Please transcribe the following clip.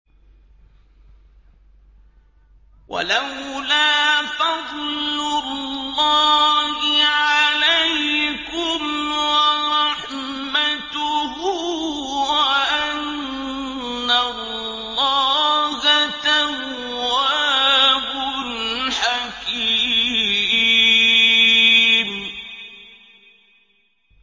وَلَوْلَا فَضْلُ اللَّهِ عَلَيْكُمْ وَرَحْمَتُهُ وَأَنَّ اللَّهَ تَوَّابٌ حَكِيمٌ